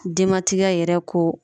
Denmatigiya yɛrɛ ko